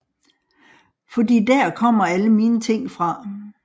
Fordi dér kommer alle mine ting fra